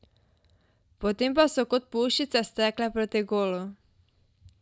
Potem pa so kot puščice stekle proti golu.